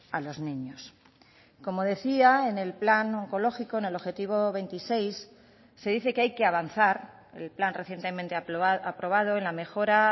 a los niños como decía en el plan oncológico en el objetivo veintiséis se dice que hay que avanzar el plan recientemente aprobado en la mejora